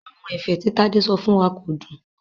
Àwọn ẹ̀fẹ̀ tí Tádé sọ fún wa kò dùn.